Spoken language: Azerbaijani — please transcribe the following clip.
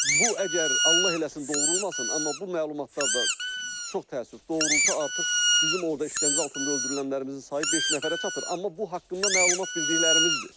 Bu əgər Allah eləsin doğru olmasın, amma bu məlumatlar da çox təəssüf doğrulsa artıq bizim orda işgəncə altında öldürülənlərimizin sayı beş nəfərə çatır, amma bu haqqında məlumat bildiklərimizdir.